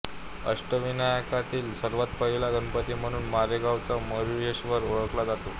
अष्टविनायकातील सर्वांत पहिला गणपती म्हणून मोरगावचा मयूरेश्वर ओळखला जातो